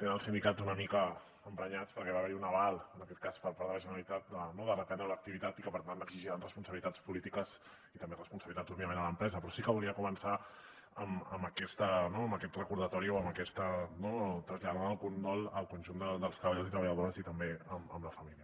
tenen els sindicats una mica emprenyats perquè va haver hi un aval en aquest cas per part de la generalitat de reprendre l’activitat i que per tant exigiran responsabilitats polítiques i també responsabilitats òbviament a l’empresa però sí que volia començar amb aquest recordatori i traslladar el condol al conjunt dels treballadors i treballadores i també a la família